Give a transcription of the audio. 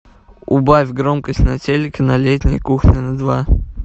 убавь громкость на телике на летней кухне на два